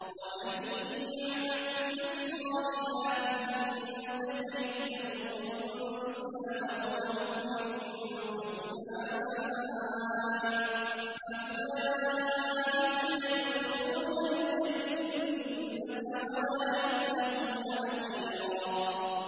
وَمَن يَعْمَلْ مِنَ الصَّالِحَاتِ مِن ذَكَرٍ أَوْ أُنثَىٰ وَهُوَ مُؤْمِنٌ فَأُولَٰئِكَ يَدْخُلُونَ الْجَنَّةَ وَلَا يُظْلَمُونَ نَقِيرًا